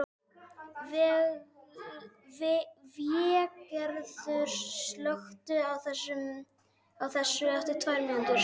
Végerður, slökktu á þessu eftir tvær mínútur.